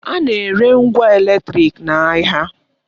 A na-ere ngwa eletrịk n'ahịa.